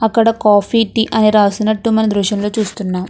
అక్కడ coffee tea అని రాసినట్టు మనం ఈ దృశ్యంలో చూస్తున్నాం.